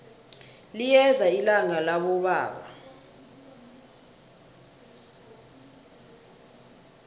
liyeza ilanga labobaba